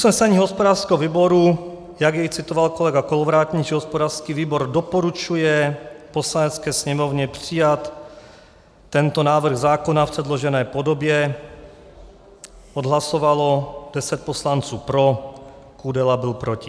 Usnesení hospodářského výboru, jak jej citoval kolega Kolovratník, že hospodářský výbor doporučuje Poslanecké sněmovně přijat tento návrh zákona v předložené podobě, odhlasovalo 10 poslanců pro, Kudela byl proti.